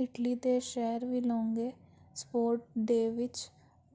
Italy ਦੇ ਸਹਿਰ Villongo sport day ਵਿੱਚ